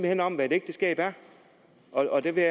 hen om hvad et ægteskab er og der vil